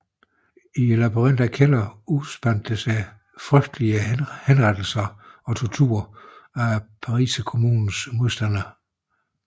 I labyrinten af kældere udspandt der sig frygtelige henrettelser og tortur af Pariserkommunens modstandere